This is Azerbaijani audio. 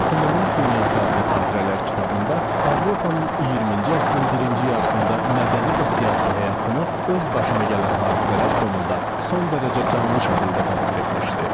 Dünənin dünyası adlı xatirələr kitabında Avropanın 20-ci əsrin birinci yarısında mədəni və siyasi həyatını öz başına gələn hadisələr fonunda son dərəcə canlı şəkildə təsvir etmişdi.